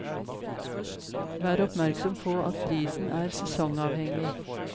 Vær oppmerksom på at prisen er sesongavhengig.